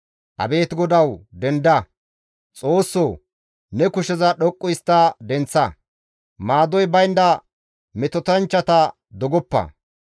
Abeet GODAWU! Denda. Xoossoo! Ne kusheza dhoqqu histta denththa; maadoy baynda metotanchchata dogoppa.